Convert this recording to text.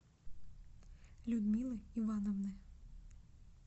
людмилы ивановны